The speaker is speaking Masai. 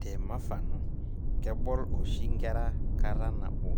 Te mafano, kebol oshi nkera kata nabo